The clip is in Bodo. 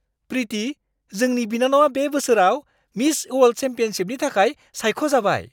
प्रिति! जोंनि बिनानावा बे बोसोराव मिस अवार्ल्ड चेम्पियनशिपनि थाखाय सायख'जाबाय।